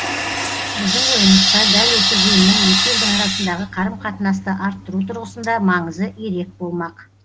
біздің ойымызша дәл осы жиынның екі елдің арасындағы қарым қатынасты арттыру тұрғысында маңызы ерек болмақ